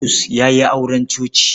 Bulus ya yi auren coci.